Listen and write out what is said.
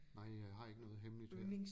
Nej jeg har ikke noget hemmeligt her